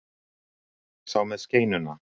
Sá með skeinuna.